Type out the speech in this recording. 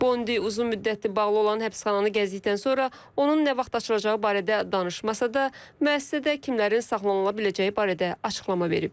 Bondi uzun müddətdir bağlı olan həbsxananı gəzdikdən sonra onun nə vaxt açılacağı barədə danışmasa da, müəssisədə kimlərin saxlanıla biləcəyi barədə açıqlama verib.